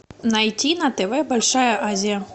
найти на тв большая азия